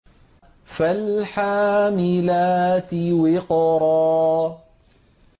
فَالْحَامِلَاتِ وِقْرًا